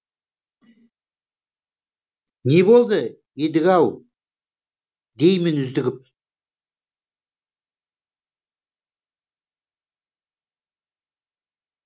не болды едіге ау деймін үздігіп